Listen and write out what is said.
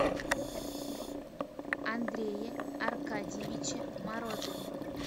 андрее аркадьевиче морозове